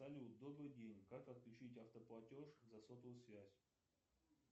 салют добрый день как отключить автоплатеж за сотовую связь